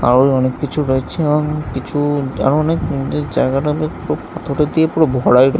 তাও এই অনেক কিছু রয়েছে-এ অনেক কিছু-উ তাও অনেক জায়গাটা অনেক খুব পাথর দিয়ে পুরো ভরাই কর--